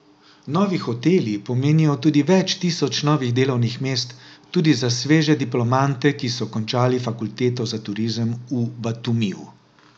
Novi hoteli pomenijo tudi več tisoč novih delovnih mest, tudi za sveže diplomante, ki so končali fakulteto za turizem v Batumiju.